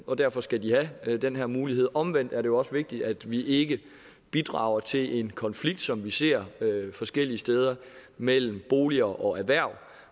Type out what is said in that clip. og derfor skal de have den her mulighed men omvendt er det også vigtigt at vi ikke bidrager til en konflikt som vi ser forskellige steder mellem boliger og erhverv